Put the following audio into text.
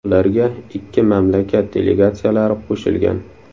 Ularga ikki mamlakat delegatsiyalari qo‘shilgan.